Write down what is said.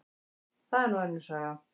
Það er nú önnur saga.